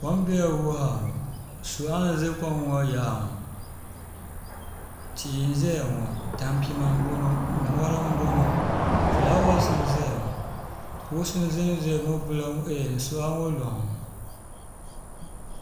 kom doya wuhaaŋɔ suɣ' n nyɛ kom yaɣili ŋɔ ti n nyɛya ŋɔ tampima n bɔŋɔ mori n bɔŋɔ ƒulawasi n zaya ŋɔ kugisi ʒɛnya suɣ' ŋɔ luŋni